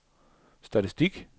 statistik